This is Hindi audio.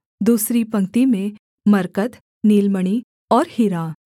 दूसरी पंक्ति में मरकत नीलमणि और हीरा